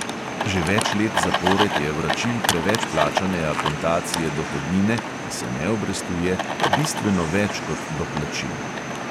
Že več let zapored je vračil preveč plačane akontacije dohodnine, ki se ne obrestuje, bistveno več kot doplačil.